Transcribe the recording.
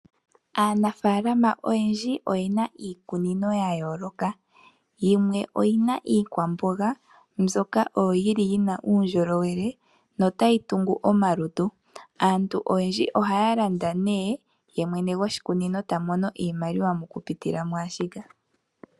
Aanafaalama oyendji oyena iikunino yayooloka. Yimwe oyina iikwamboga mbyoka yina uundjolowele notayi tungu omalutu. Aantu oyendji ohaya landa, ye mwene goshikunino ta mono iimaliwa mokulanditha.